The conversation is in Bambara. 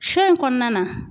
Sɔ in kɔnɔna na